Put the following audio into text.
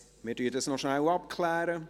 – Wir klären dies noch kurz ab.